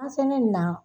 An fɛnɛ nin na